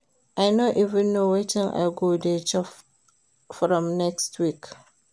I no even know wetin I go dey chop from next week